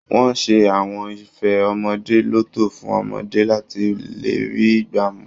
Wọ́n ṣe àwọn ife ọmọdé lọ́tọ̀ fún ọmọdé láti lè rí i gbá mú